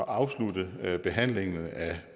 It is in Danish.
afslutte behandlingen af